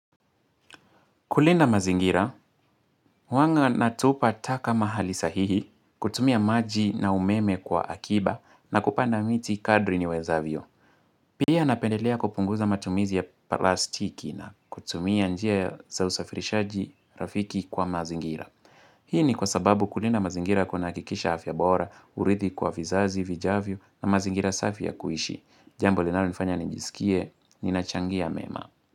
Kulinda mazingira, huwanga natupa taka mahali sahihi, kutumia maji na umeme kwa akiba na kupanda miti kadri niwezavyo. Pia napendelea kupunguza matumizi ya plastiki na kutumia njia ya za usafirishaji rafiki kwa mazingira. Hii ni kwa sababu kulinda mazingira kuna hakikisha afya bora, urithi kwa vizazi, vijavyo na mazingira safi ya kuishi. Jambo linalo nifanya nijisikie, ninachangia mema.